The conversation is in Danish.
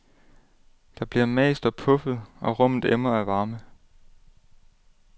Der bliver mast og puffet, og rummet emmer af varme.